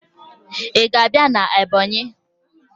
Ị ga-abịa na Ebọnyị?